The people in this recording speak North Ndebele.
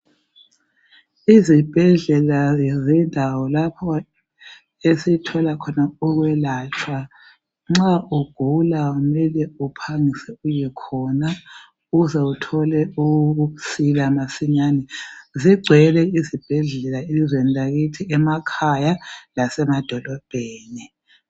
Izibhedlela ke zindawo lapho esithola khona ukwelatshwa nxa ugula mele uphangise uye khona ukuze uthole ukusila masinyani. Zigcwele izibhedlela elizweni lakithi emakhaya lasemadolobheni.